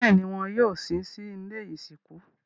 Bẹ́ẹ̀ni, wọn yóò sin sí ilé ìsìnkú